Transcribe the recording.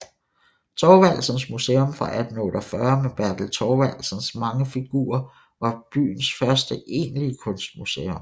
Thorvaldsens Museum fra 1848 med Bertel Thorvaldsens mange figurer var byens første egentlige kunstmuseum